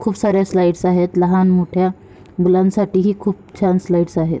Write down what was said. खूप साऱ्या स्लाइडस आहेत लहान मोठ्या मुलान साठी ही खूप छान स्लाइडस आहेत.